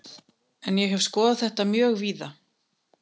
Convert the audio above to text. En ég hef skoðað þetta mjög víða.